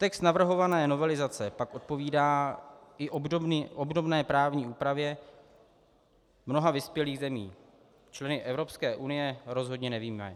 Text navrhované novelizace pak odpovídá i obdobné právní úpravě mnoha vyspělých zemí, členy Evropské unie rozhodně nevyjímaje.